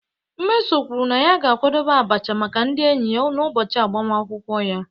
Mmeso kwuru na ya ga-akwadebe abacha maka ndị enyi ya n'ụbọchị agbamakwụkwọ ya.